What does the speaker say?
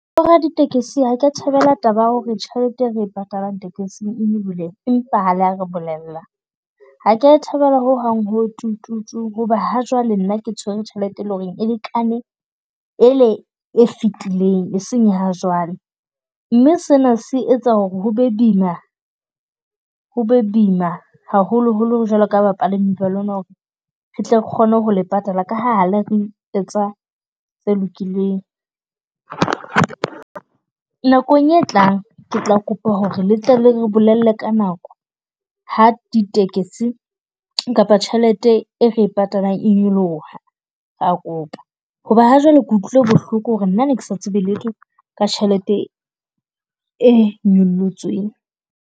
Bo raditekesi ha ke a thabela taba ya ho re tjhelete e re e patalang tekesing e nyolohile empa ha le ya re bolella. Ha ke ya e thabela ho hang, ho tu tu tu hoba ha jwale nna ke tshwere tjhelete e leng ho re e lekane ele e fetileng, e seng ya ha jwale. Mme sena se etsa ho re ho be boima, ho be boima haholo holo jwaloka bapala . Re tle re kgone ho le patala ka ha la re etsa tse lokileng. Nakong e tlang, ke tla kopa ho re le tle le re bolelle ka nako ha di tekesi kapa tjhelete e re e patalang e nyoloha, ra kopa. Ho ba ha jwale ke utlwile bohloko ho re nna ne ke sa tsebe letho ka tjhelete e nyollotsweng.